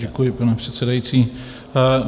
Děkuji, pane předsedající.